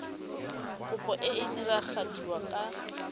kopo e e diragadiwa ka